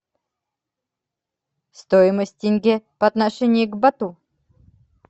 стоимость тенге по отношению к бату